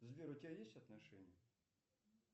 сбер у тебя есть отношения